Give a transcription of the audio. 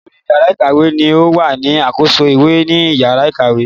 Olórí yàrá ìkàwé ni o wà ní àkóso ìwé ni yàrá ìkàwé